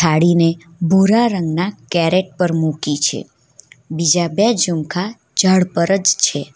થાડીને ભૂરા રંગના કેરેટ પર મૂકી છે બીજા બે જુમખા ઝાડ પર જ છે.